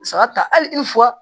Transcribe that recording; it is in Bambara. Saga ta hali i f